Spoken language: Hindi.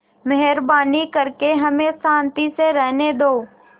मेहरबानी करके हमें शान्ति से रहने दो